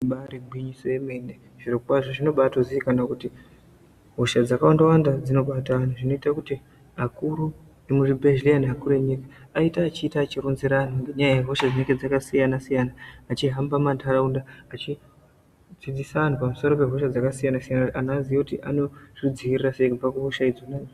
Ibaari gwinyiso yemene, zvirokwazvo zvinobaatozikana kuti hosha dzakawanda-wanda dzinobata anhu, zvinoita kuti akuru emuzvibhedhleya, neakuru enyika aite achiita achironzera anhu ngenyaya yehosha dzinenge dzakasiyana-siyana. Achihamba mumantharaunda achidzidzisa anhu pamusoro pehosha dzakasiyana-siyana kuti aziye kuti anozvidziirira sei kubva kuhosha idzona?